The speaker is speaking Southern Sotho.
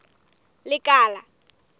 lekala